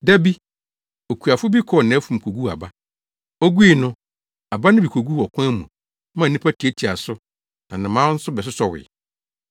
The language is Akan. “Da bi, okuafo bi kɔɔ nʼafum koguu aba. Ogui no, aba no bi koguu ɔkwan mu maa nnipa tiatiaa so na nnomaa nso bɛsosɔwee.